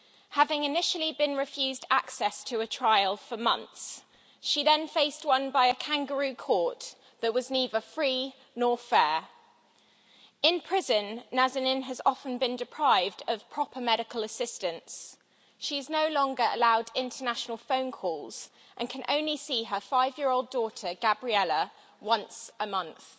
Having initially been refused access to a trial for months, she then faced one by a kangaroo court that was neither free nor fair. In prison Nazanin has often been deprived of proper medical assistance. She is no longer allowed international phone calls and can only see her five year old daughter, Gabriella, once a month.